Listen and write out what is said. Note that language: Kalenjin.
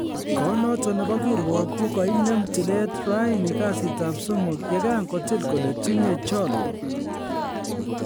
Kot noton nebo kirwoget kogoinem tilet raeni kasitab somok, ye kan kotil kole tinye cholwok